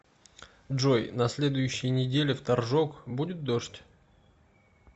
джой на следующей неделе в торжок будет дождь